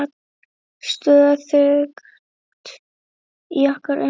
Stöðugt í okkar umsjá.